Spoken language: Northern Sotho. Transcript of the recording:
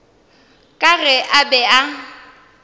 ka ge a be a